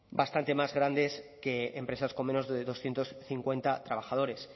bastante más grandes que empresas con menos de doscientos cincuenta trabajadores